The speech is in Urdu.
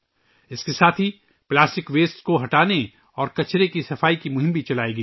اس کے ساتھ ہی پلاسٹک کے کچرے کو ہٹانے اور کچرے کو صاف کرنے کی مہم بھی چلائی گئی